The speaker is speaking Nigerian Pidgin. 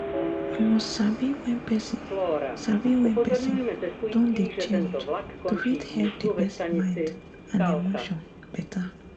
you must sabi wen person sabi wen person don dey change to fit help d person mind and emotion better